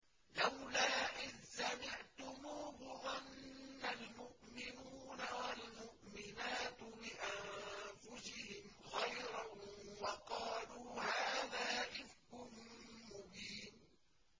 لَّوْلَا إِذْ سَمِعْتُمُوهُ ظَنَّ الْمُؤْمِنُونَ وَالْمُؤْمِنَاتُ بِأَنفُسِهِمْ خَيْرًا وَقَالُوا هَٰذَا إِفْكٌ مُّبِينٌ